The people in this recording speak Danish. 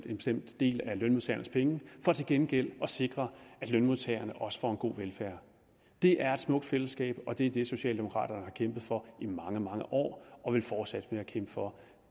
en bestemt del af lønmodtagernes penge for til gengæld at sikre at lønmodtagerne også får en god velfærd det er et smukt fællesskab og det er det socialdemokraterne har kæmpet for i mange mange år og vil fortsætte med at kæmpe for